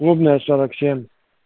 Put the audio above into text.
клубная сорок семь